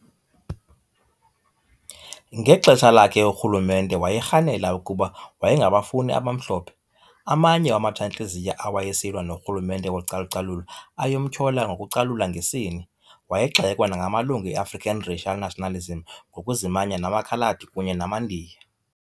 Ngexesha lakhe urhulumente wayerhanela ukuba wayengabafuni abamhlophe, amanye wamatshantliziyo awayesilwa norhulumente wocalucalulo ayemtyhola ngokucalula ngesini, wayegxekwa nangamalungu e-African racial nationalism ngokuzimanya namaKhaladi kunye namaNdiya.